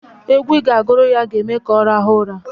Egwu ị ga-agụrụ ya ga-eme ka ọ rahụọ ụra.